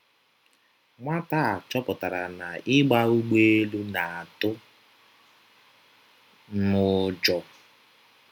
Nwata a chọpụtara na ịgba ụgbọelu na - atụ m ụjọ.